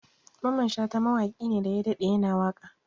Mamman Shata mawaƙi ne daya daɗe ya na waƙa